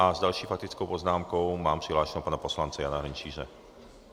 A s další faktickou poznámkou mám přihlášeného pana poslance Jana Hrnčíře.